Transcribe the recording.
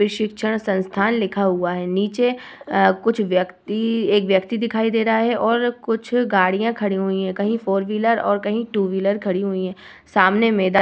शिक्षण संस्थान लिखा हुआ है। नीचे आ कुछ व्यक्ति एक व्यक्ति दिखाई दे रहा है और कुछ गाड़ियां खड़ी हुई हैं। कहीं फोर व्हीलर और कहीं टू व्हीलर खड़ी हुई हैं। सामने मैदान --